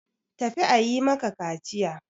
Tafi a yi maka kaciya!